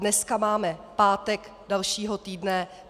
Dneska máme pátek dalšího týdne.